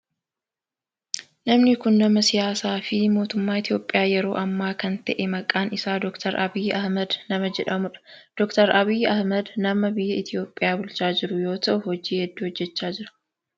Namni kun nama siyaasaa fi mootummaa Itiyoophiyaa yeroo amma kan ta'e maqaan isaa Dr. Abiyi Ahimeed nama jedhamudha. Dr. Abiyi Ahimeed nama biyya Itiyoophiyaa bulchaa jiru yoo ta'u hojii hedduu hojjechaa jira.